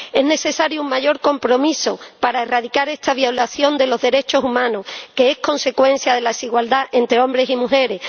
Es necesario un mayor compromiso para erradicar esta violación de los derechos humanos, que es consecuencia de la desigualdad entre hombres y mujeres.